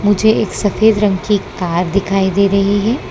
मुझे एक सफेद रंग की कार दिखाई दे रही है।